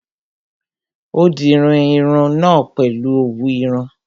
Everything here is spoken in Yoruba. Ó dirun irun náà pèlu òwú irun